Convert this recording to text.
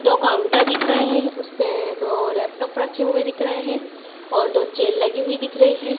दो काउंटर दिख रहे हैं उस पे दो लैपटॉप रखे हुए दिख रहे हैं और दो चेयर लगी हुई दिख रही है।